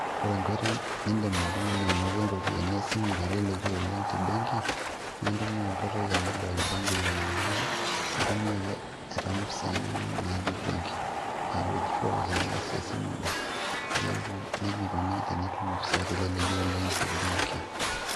ore enkoitoi nindim oltung'ani anotie iropiyiani esimu teleleki oleng tembenki naa intumia enkoitoi e mobile banking aa ninye intumia ake aitayu mpisai inonok natii benki aa withdrawals ake iyas tesimu ino.